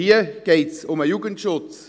Hier geht es aber um den Jugendschutz.